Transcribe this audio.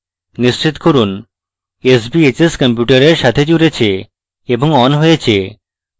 নিশ্চিত করুন sbhs কম্পিউটারের সাথে জুড়েছে এবং on হয়েছে